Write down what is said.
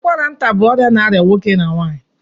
ụkwara nta bụ ọrịa na arịa nwoke na nwanyị